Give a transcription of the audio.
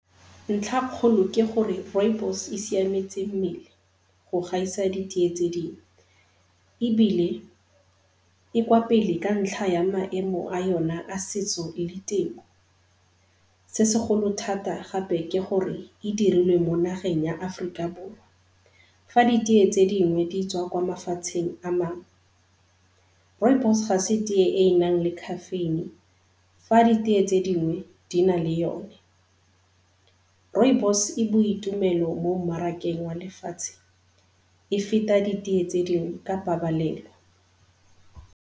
Ntlhakgolo ke gore rooibos e siametse mmele go gaisa ditee tse dingwe, ebile e kwa pele ka ntlha ya maemo a yona a setso le ditemo, se segolo thata gape ke gore e dirilwe mo nageng ya Aforika Borwa fa ditee tse dingwe di tswa kwa mafatsheng a mangwe. Rooibos ga se tee e e nang le caffeine fa ditee tse dingwe di na le yone. Rooibos e boitumelo mo mmarakeng wa lefatshe e feta ditee tse dingwe ka pabalelo.